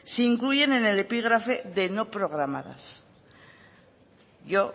se incluyen en el epígrafe de no programadas yo